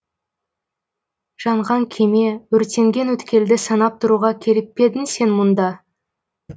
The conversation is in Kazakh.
жанған кеме өртенген өткелді санап тұруға келіп пе едің сен мұнда